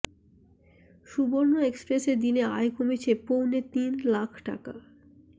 সুবর্ণ এক্সপ্রেসে দিনে আয় কমেছে পৌনে তিন লাখ টাকা